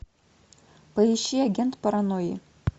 поищи агент паранойи